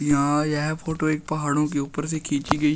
यहां यह फोटो एक पहाड़ों के ऊपर से खींची गई--